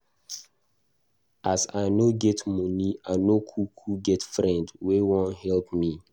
As I no get moni, I no kuku get friend wey wan help me.